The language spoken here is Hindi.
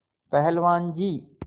पहलवान जी